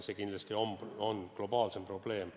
See kindlasti on globaalne probleem.